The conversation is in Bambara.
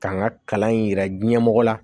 K'an ka kalan in yira ɲɛmɔgɔ la